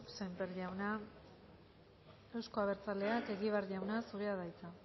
sémper jauna euzko abertzaleak egibar jauna zurea da hitza